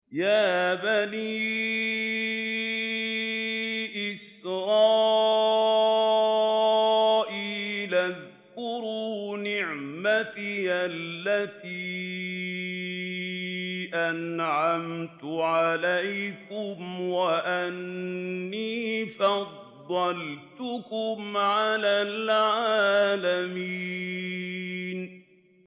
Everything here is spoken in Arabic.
يَا بَنِي إِسْرَائِيلَ اذْكُرُوا نِعْمَتِيَ الَّتِي أَنْعَمْتُ عَلَيْكُمْ وَأَنِّي فَضَّلْتُكُمْ عَلَى الْعَالَمِينَ